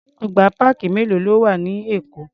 Ọgbà páàkì mélòó ló wà ní Èkó?